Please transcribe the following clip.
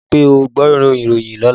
Rí wí pé ó gbọ́ ìròyìn lọ́lá!